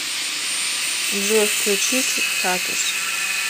джой включить хатус